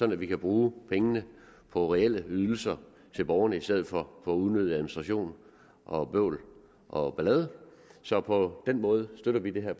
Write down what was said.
at vi kan bruge pengene på reelle ydelser til borgerne i stedet for unødig administration og bøvl og ballade så på den måde støtter vi det her